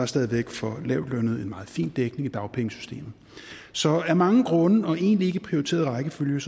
stadig væk for lavtlønnede en meget fin dækning i dagpengesystemet så af mange grunde og egentlig ikke i prioriteret rækkefølge